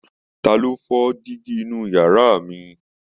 Ta ló fọ dígí inú yàrá mi?